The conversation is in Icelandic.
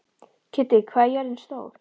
Kiddi, hvað er jörðin stór?